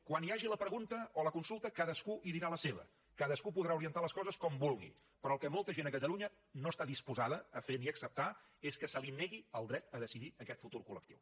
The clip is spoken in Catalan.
quan hi hagi la pregunta o la consulta cadascú hi dirà la seva cadascú podrà orientar les coses com vulgui però el que molta gent a catalunya no està disposada a fer ni a acceptar és que se li negui el dret a decidir aquest futur collectiu